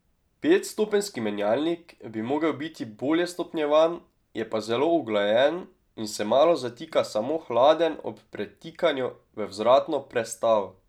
Petstopenjski menjalnik bi mogel biti bolje stopnjevan, je pa zelo uglajen in se malo zatika samo hladen ob pretikanju v vzvratno prestavo.